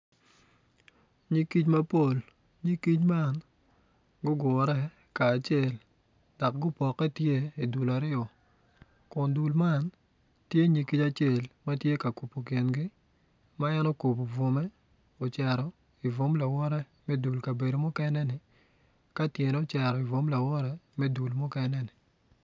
Nyig kic mapol nyig kic man gugure kacel dok gupokke tye dul aryo kun dul man tye nyig kic acel ma tye ka kubo kingi